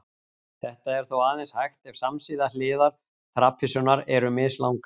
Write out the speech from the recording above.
Þetta er þó aðeins hægt ef samsíða hliðar trapisunnar eru mislangar.